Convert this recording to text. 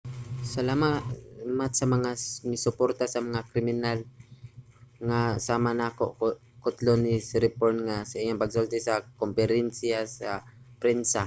"salamat sa mga misuporta sa kriminal nga sama nako, kutlo ni siriporn sa iyang pagsulti sa komperensiya sa prensa